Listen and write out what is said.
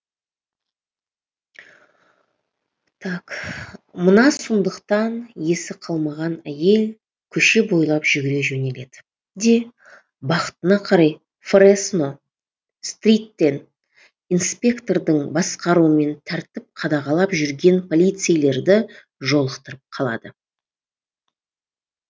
мына сұмдықтан есі қалмаған әйел көше бойлап жүгіре жөнеледі де бақытына қарай фресно стриттен инспектордың басқаруымен тәртіп қадағалап жүрген полицейлерді жолықтырып қалады